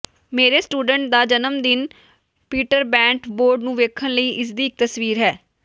ਮੇਰੇ ਸਟੂਡੈਂਟ ਦਾ ਜਨਮਦਿਨ ਪੀਟਰਬੈੰਟ ਬੋਰਡ ਨੂੰ ਵੇਖਣ ਲਈ ਇਸ ਦੀ ਕੀ ਤਸਵੀਰ ਹੈ